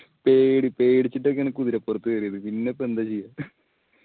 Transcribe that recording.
പേടി പേടിച്ചിട്ടൊക്കെ ആണ് കുതിരപ്പുറത്ത് കേറിയത് പിന്ന ഇപ്പൊ എന്താ ചെയ്യാ